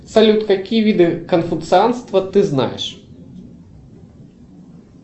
салют какие виды конфуцианства ты знаешь